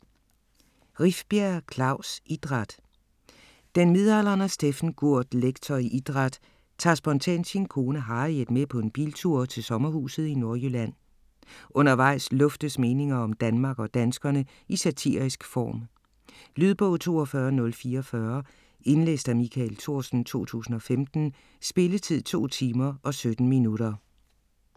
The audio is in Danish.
Rifbjerg, Klaus: Idræt Den midaldrende Steffen Gurt, lektor i idræt, tager spontant sin kone Harriet med på en biltur til sommerhuset i Nordjylland. Undervejs luftes meninger om Danmark og danskerne i satirisk form. Lydbog 42044 Indlæst af Michael Thorsen, 2015. Spilletid: 2 timer, 17 minutter.